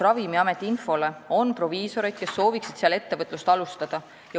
Ravimiameti info kohaselt on proviisoreid, kes sooviksid seal ettevõtlust alustada.